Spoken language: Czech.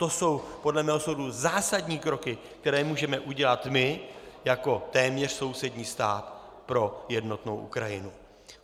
To jsou podle mého soudu zásadní kroky, které můžeme udělat my jako téměř sousední stát pro jednotnou Ukrajinu.